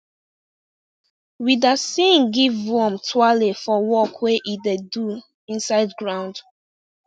we da sing give worm twale for work wey e da do inside ground